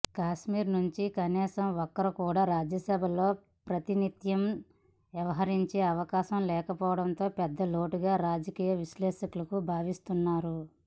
కాశ్మీర్ నుంచి కనీసం ఒక్కరు కూడా రాజ్యసభలో ప్రాతినిథ్యం వహించే అవకాశం లేకపోవటం పెద్దలోటుగా రాజకీయ విశ్లేషకులు భావిస్తున్నారు